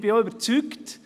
Ich bin überzeugt: